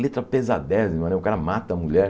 Letra pesadezima né, o cara mata a mulher.